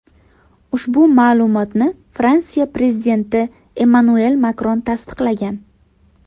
Ushbu ma’lumotni Fransiya prezidenti Emmanuel Makron tasdiqlagan .